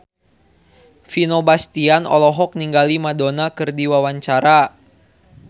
Vino Bastian olohok ningali Madonna keur diwawancara